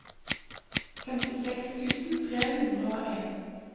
femtiseks tusen tre hundre og en